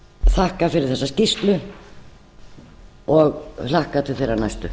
þakka fyrir þessa skýrslu og hlakka til þeirrar næstu